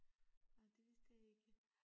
Ah det vidste jeg ikke